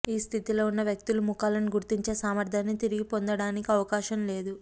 ఈ స్థితిలో ఉన్న వ్యక్తులు ముఖాలను గుర్తించే సామర్థ్యాన్ని తిరిగి పొందటానికి అవకాశం లేదు